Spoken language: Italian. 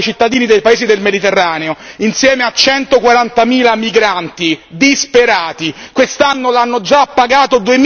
Il conto però, signori, lo pagano i cittadini dei paesi del Mediterraneo, insieme a centoquarantamila migranti disperati.